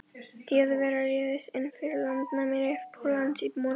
Þjóðverjar réðust inn fyrir landamæri Póllands í morgun.